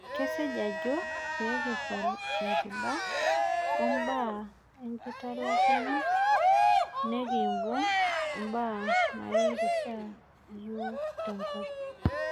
Kasej ajo peekpal enkiba o enkitalakuno nekimbung' imbaa nairishaa yiok tenkop